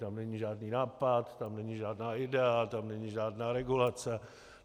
Tam není žádný nápad, tam není žádná idea, tam není žádná regulace.